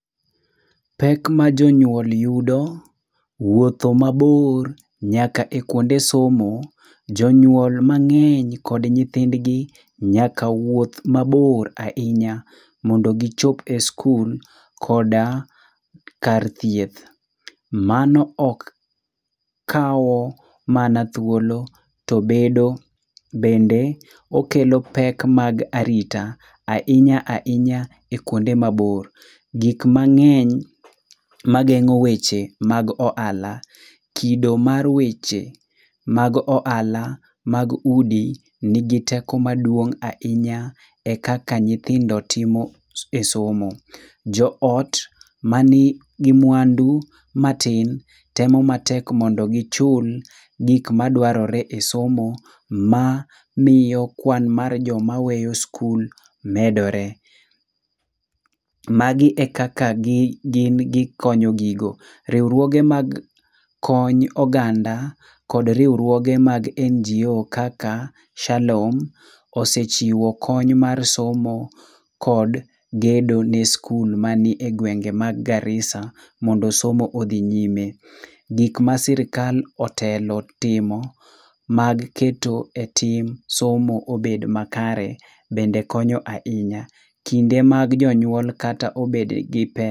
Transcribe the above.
Pek ma jonyuol yudo wuotho mabor nyaka e kuonde somo. Jonyuol mang'eny kod nyithindgi nyaka wuoth mabor ahinya mondo gichop e skul koda kar thieth. Mano ok kawo mana thuolo to bedo bende okelo pek mag arita, ahinya ahinya e kuonde mabor. Gik mang'eny mageng'o weche mag ohala, kido mar weche mag ohala mag udi nigi teko maduong' ahinya e kaka nyithindo timo e somo. Joot manigi mwandu matin temo matek mondo gichul gik madwarore e somo mamiyo kwan mar joma weyo skul medore. Magi e kaka gin gikonyo gigo. Riwruoge mag kony oganda kod riwruoge mag NGO kaka, Shalom osechiwo kony mar somo kod gedo ne skul mani e gwenge mag Garissa mondo somo odhi nyime. Gik ma sirkal otelo timo mag keto e tim somo obed makare bende konyo ahinya kinde mag jonyuol kata obed gi pesa.